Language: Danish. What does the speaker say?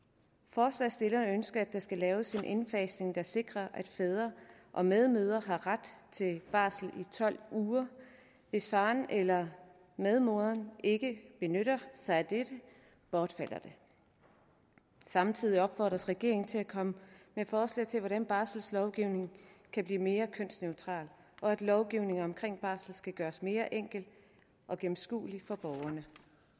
forslagsstillerne ønsker at der skal laves en indfasning der sikrer at fædre og medmødre her ret til barsel i tolv uger hvis faren eller medmoderen ikke benytter sig af dette bortfalder det samtidig opfordres regeringen til at komme med forslag til hvordan barselslovgivningen kan blive mere kønsneutral og lovgivningen om barsel skal gøres mere enkel og gennemskuelig for borgerne